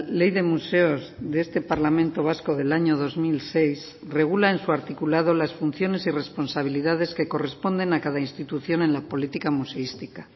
ley de museos de este parlamento vasco del año dos mil seis regula en su articulado las funciones y responsabilidades que corresponden a cada institución en la política museística